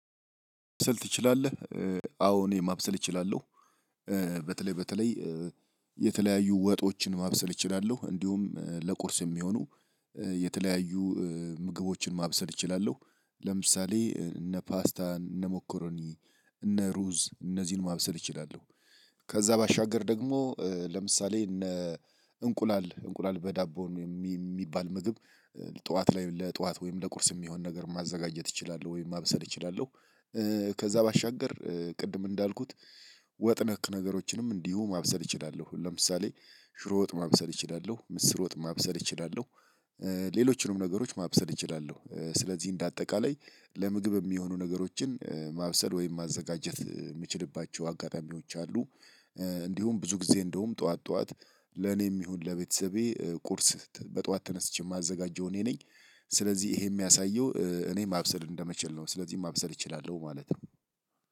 ማብሰል ትችላለህ? አዎ እኔ ማብሰል እችላለሁ። በተለይ በተለይ የተለያዩ ወጦችን ማብሰል እችላለሁ እንዲሁም ለቁርስ የሚሆኑ የተለያዩ ምግቦችን ማብሰል እችላለሁ። ለምሳሌ እነ ፓስታን እነ ሞክሮኒ እነ ሩዝ እነዚህን ማብሰል እችላለሁ። ከዛ ባሻገር ደግሞ ለምሳሌ እነ እንቁላል እንቁላል በዳቦ ሚባል ምግብ ጠዋት ላይ ለጠዋት ወይም ለቁርስ የሚሆን ነገር ማዘጋጀት እችላለሁ ወይም ማብሰል እችላለሁ። ከዛ ባሻገር ቅድም እንዳልኩት ወጥ ነክ ነገሮችንም እንዲሁ ማብሰል እችላለሁ ለምሳሌ ሽሮ ወጥ ማብሰል እችላለሁ ምስር ወጥ ማብሰል እችላለሁ። ሌሎችንም ነገሮች ማብሰል እችላለሁ ስለዚህ እንደ አጠቃላይ ለምግብ እሚሆኑ ነገሮችን ማብሰል ወይም ማዘጋጀት ምችልባቸው አጋጣሚዎች አሉ። እንዲሁም ብዙ ጊዜ እንደውም ጠዋት ጠዋት ለኔም ይሁን ለቤተሰቤ ቁርስ በጠዋት ተነስቼ ማዘጋጀው እኔ ነኝ። ስለዚህ ይሄ የሚያሳየው እኔ ማብሰል እንደምችል ነው። ስለዚህ ማብሰል እችላለሁ ማለት ነው።